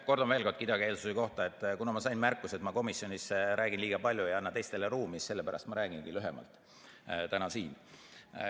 Kordan veel kidakeelsuse kohta: kuna ma sain märkuse, et ma komisjonis räägin liiga palju, ei anna teistele ruumi, siis ma sellepärast räägingi lühemalt täna siin.